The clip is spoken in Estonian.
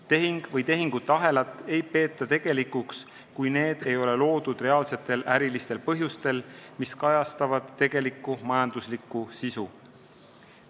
Tehingut või tehingute ahelat ei peeta tegelikuks, kui see ei ole loodud reaalsetel ärilistel põhjustel, mis kajastavad tegelikku majanduslikku sisu.